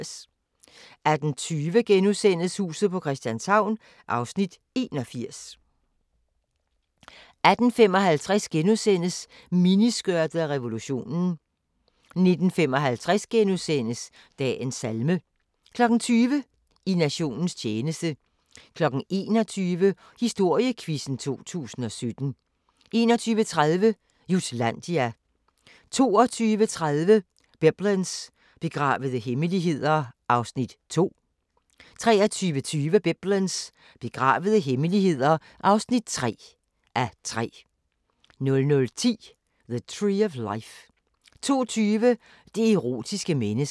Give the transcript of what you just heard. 18:20: Huset på Christianshavn (81:84)* 18:55: Miniskørtet og revolutionen * 19:55: Dagens salme * 20:00: I nationens tjeneste 21:00: Historiequizzen 2017 21:30: Jutlandia 22:30: Biblens begravede hemmeligheder (2:3) 23:20: Biblens begravede hemmeligheder (3:3) 00:10: The Tree of Life 02:20: Det erotiske menneske